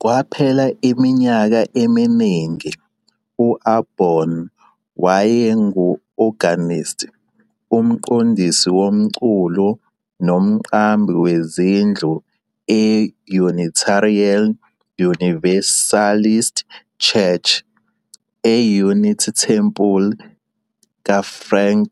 Kwaphela iminyaka eminingi, u-Aborn wayengu-organist, umqondisi womculo nomqambi wezindlu e- Unitarian Universalist Church, e-Unity Temple kaFrank